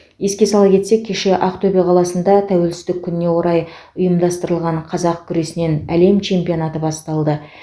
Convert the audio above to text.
еске сала кетсек кеше ақтөбе қаласында тәуелсіздік күніне орай ұйымдастырылған қазақ күресінен әлем чемпионаты басталды